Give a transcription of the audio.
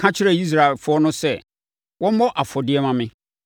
“Ka kyerɛ Israelfoɔ no sɛ, wɔmmɔ afɔdeɛ mma me.